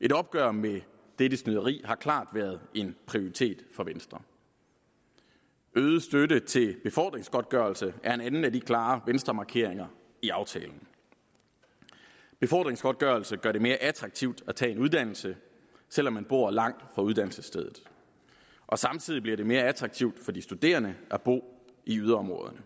et opgør med dette snyderi har klart været en prioritet for venstre øget støtte til befordringsgodtgørelse er en anden af de klare venstremarkeringer i aftalen befordringsgodtgørelse gør det mere attraktivt at tage en uddannelse selv om man bor langt fra uddannelsesstedet og samtidig bliver det mere attraktivt for de studerende at bo i yderområderne